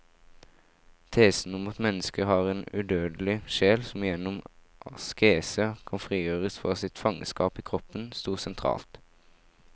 Tesen om at mennesket har en udødelig sjel som gjennom askese kan frigjøres fra sitt fangenskap i kroppen, stod sentralt.